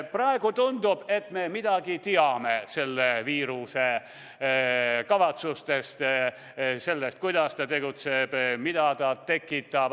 Praegu tundub, et me midagi juba teame selle viiruse kavatsustest, sellest, kuidas ta tegutseb ja mida ta tekitab.